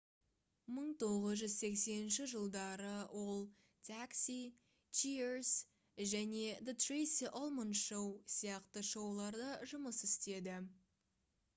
1980 жылдары ол taxi cheers және the tracey ullman show сияқты шоуларда жұмыс істеді